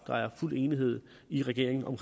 fuld enighed i regeringen om